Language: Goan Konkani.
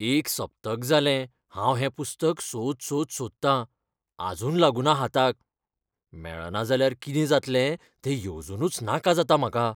एक सप्तक जालें हांव हें पुस्तक सोद सोद सोदतां, आजून लागुना हाताक. मेळना जाल्यार कितें जातलें तें येवजूनच नाका जाता म्हाका.